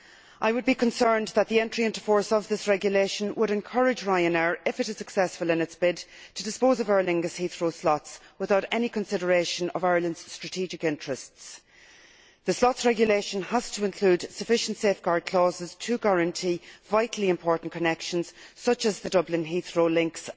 I would be concerned that the entry into force of this regulation would encourage Ryanair, if it is successful in its bid, to dispose of Aer Lingus' Heathrow slots without any consideration of Ireland's strategic interests. The slots regulation has to include sufficient safeguard clauses to guarantee vitally important connections, such as the Dublin Heathrow links